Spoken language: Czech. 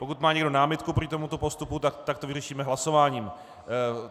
Pokud má někdo námitku proti tomuto postupu, tak to vyřešíme hlasováním.